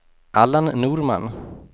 Allan Norman